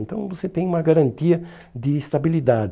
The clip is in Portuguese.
Então você tem uma garantia de estabilidade.